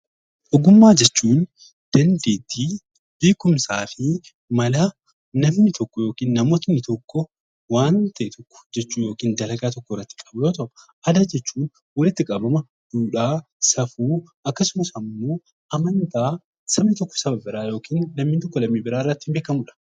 Ogummaa jechuun dandeettii , beekumsaa fi mala namoonni tokko waan tokko hojjachuu yookiin dalagaa tokko hojjachuuf fayyadaman yoo ta'u, aadaa jechuun duudhaa, safuu akkasumas immoo amantaa sabni tokko ittiin beekamudha